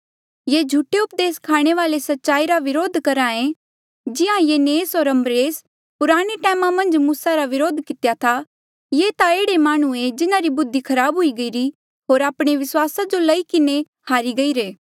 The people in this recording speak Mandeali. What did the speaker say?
ये झूठे उपदेस स्खाणे वाले सच्चाई रा व्रोध करहे जिहां यन्नेसे होर यम्ब्रेसे पुराणे टैमा मन्झ मूसा रा व्रोध कितेया था ये ता एह्ड़े माह्णुं ऐें जिन्हारी बुद्धि खराब हुई गईरी होर आपणे विस्वासा जो लेई किन्हें हारी गईरे